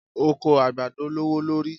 Oko àgbàdo lówó lórí.